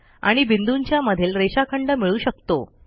आणि बिंदूंच्या मधील रेषाखंड मिळू शकतो